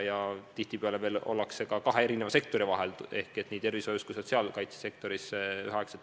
Ja tihtipeale panustatakse ühel ajal veel ka kahes eri sektoris, nii tervishoius kui ka sotsiaalkaitse sektoris.